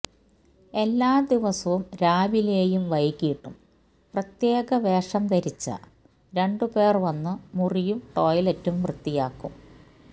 എല്ലാ ദിവസവും രാവിലെയും െവെകിട്ടും പ്രത്യേകവേഷം ധരിച്ച ധരിച്ച രണ്ടുപേര് വന്നു മുറിയും ടോയ്ലറ്റും വൃത്തിയാക്കും